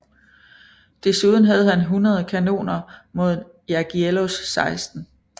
Desuden havde Han 100 kanoner mod Jagiełłos 16